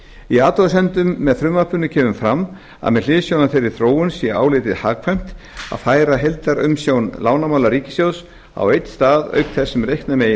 í athugasemdum með frumvarpinu kemur fram að með hliðsjón af þeirri þróun sé álitið hagkvæmt að færa heildarumsjón lánamála ríkissjóðs á einn stað auk þess sem reikna megi